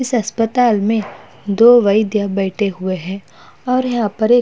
इस अस्पताल में दो वैद्य बैठे हुए है और --